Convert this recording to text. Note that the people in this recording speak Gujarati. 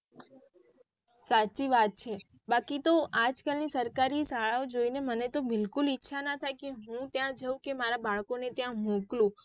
સાચી વાત છે બાકી તો આજ કલ ની સરકારી શાળાઓ જોઈ ને મને તો બિકુલ ઈચ્છા ના થાય કે હું ત્યાં જાઉં કે મારા બાળકોને ત્યાં મોકલું.